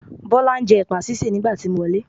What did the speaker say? Bọ́lá ń jẹ́ ẹ̀pà sísè nígbà tí mo wọlé.